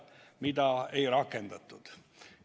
Aga seda ei rakendatud.